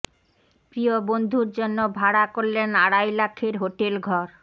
প্রিয় বন্ধুর জন্য ভাড়া করলেন আড়াই লাখের হোটেল ঘর